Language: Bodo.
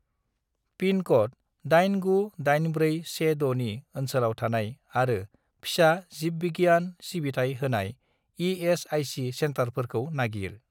पिनक'ड 898416 नि ओनसोलाव थानाय आरो फिसा जिबबिगियान सिबिथाय होनाय इ.एस.आइ.सि. सेन्टारफोरखौ नागिर।